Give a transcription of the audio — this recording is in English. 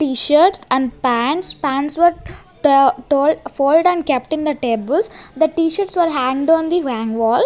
t-shirts and pants pants were told fold and kept in the tables the t-shirts were hanged on the wall.